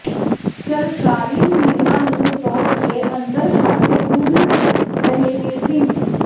ਸਰਕਾਰੀ ਨਿਯਮਾਂ ਨੂੰ ਤੋੜ ਕੇ ਅੰਦਰਖਾਤੇ ਖੁੱਲ੍ਹ ਰਹੇ ਨੇ ਜ਼ਿੰਮ